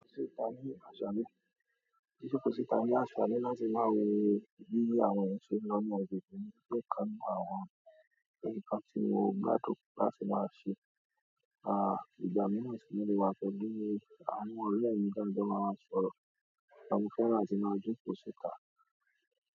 Jijokò síta ní àṣàle láti máa wo bí àwọn eeyan se n lo ni agbègbè mi je ikan nínú àwọn nkan tí mo gbà láti máa ṣe, ìgbà míiran mo le wà pẹ̀lú àwọn ọ̀rẹ́ mi taa jo máa máa sọ̀rọ̀, mo fẹ́ràn atí máa jókò síta.